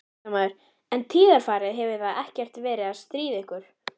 Fréttamaður: En tíðarfarið, hefur það ekkert verið að stríða ykkur?